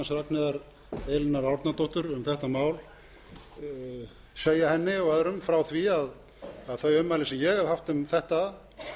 ragnheiðar e árnadóttur um þetta mál segja henni og öðrum frá því að þau ummæli sem ég hef haft um þetta